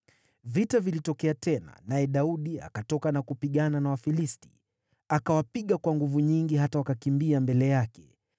Vita vilitokea tena, naye Daudi akatoka na kupigana na Wafilisti. Akawapiga kwa nguvu nyingi hata wakakimbia mbele yake.